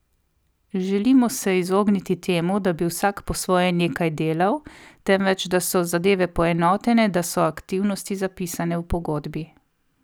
Želimo se izogniti temu, da bi vsak po svoje nekaj delal, temveč da so zadeve poenotene da so aktivnosti zapisane v pogodbi.